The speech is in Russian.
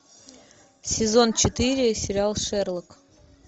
сезон четыре сериал шерлок